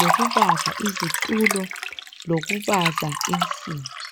lokubaza izitulo kanye lokubaza insimbi.